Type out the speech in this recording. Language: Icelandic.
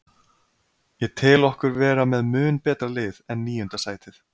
Ég tel okkur vera með mun betra lið en níunda sætið.